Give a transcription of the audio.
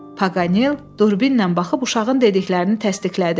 Paqanel durbinlə baxıb uşağın dediklərini təsdiqlədi.